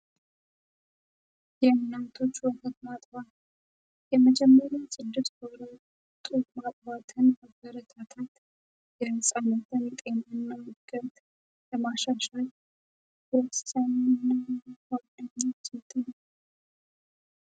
የእናቶች ወህት ማጥዋ የመጀመሪን ጽድስ ወራት ጡት ማጥባትን አበረታታት የፃሞተንጤም እናምገት ለማሻሻይ የሰነሆነኛ ዜትን